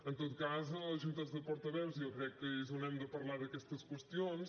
en tot cas a les juntes de portaveus jo crec que és on hem de parlar d’aquestes qüestions